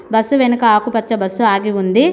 Bus వెనక ఆకుపచ్చ bus ఆగి ఉంది.